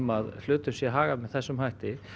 að hlutum sé hagað með þessum hætti